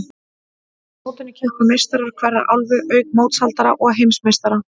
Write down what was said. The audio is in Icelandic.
Á mótinu keppa meistarar hverrar álfu, auk mótshaldara og heimsmeistara.